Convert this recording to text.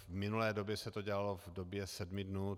V minulé době se to dělalo v době sedmi dnů.